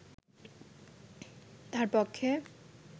তাঁর পক্ষে